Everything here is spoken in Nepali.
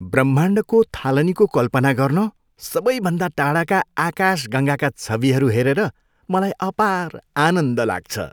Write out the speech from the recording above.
ब्रह्माण्डको थालनीको कल्पना गर्न सबैभन्दा टाढाका आकाशगङ्गाका छविहरू हेरेर मलाई अपार आनन्द लाग्छ।